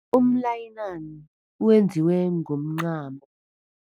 Umnayilani wenziwe ngomncamo.